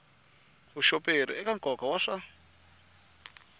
vuxoperi eka nkoka wa swa